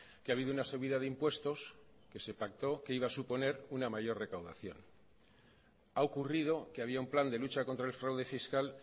que ha habido una subida de impuestos que se pactó que iba a suponer una mayor recaudación ha ocurrido que había un plan de lucha contra el fraude fiscal